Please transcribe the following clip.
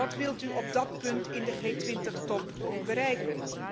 wat wilt u op dat punt in de G 20 top bereiken?